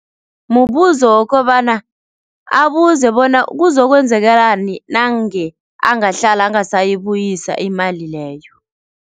Mubuzo wokobana, abuze bona kuzokwenzekalani nange angahlala angasayibuyisa imali leyo.